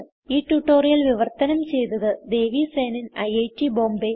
ഈ ട്യൂട്ടോറിയൽ വിവർത്തനം ചെയ്തത് ദേവി സേനൻ ഐറ്റ് ബോംബേ